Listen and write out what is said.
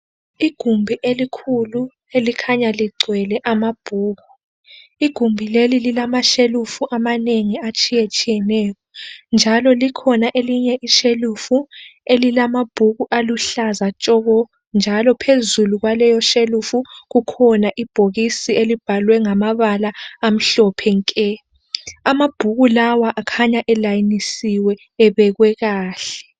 Igumbi elikhulu elikhanya ligcwele amabhuku. Igumbi leli lilama shelufu amanengi atshiyetshiyeneyo, njalo likhona elinye ishelufu elilamabhuku aluhlaza tshoko njalo phezulu kwaleyo shelufu kukhona ibhokisi elibhalwe ngamabala amhlophe nke. Amabhuku lawa akhanya elayinisiwe ebekwe kakhle.